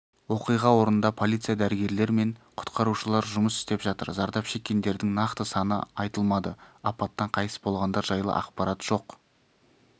оқиға орнында полиция дәрігерлер мен құтқарушылар жұмыс істеп жатыр зардап шеккендердің нақты саны айтылмады апаттан қайтыс болғандар жайлы ақпарат жоқ